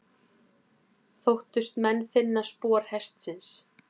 Þóttust menn finna spor hestsins.